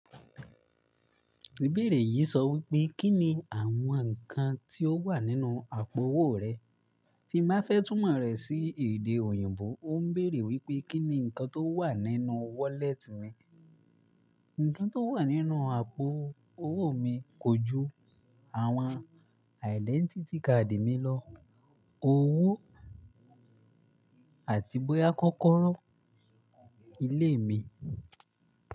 Ìbéèrè yìí sọ wípé, Kí ni àwọn ǹkan tí ó wà nínú àpo owó rẹ? Tí n bá fẹ́ túmọ̀ rẹ̀ sí èdè òyìnbó, ó ń bèèrè wípé, Kí ni ǹkan tó wà nínú wallet mi? Ǹkan tó wà nínú àpo owó mi kojú, àwọn identity card mi lọ́, owó àti bóyá kókóró ilé mi.